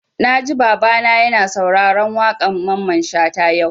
Na ji Baba na ya na sauraron waƙan Mamman Shata yau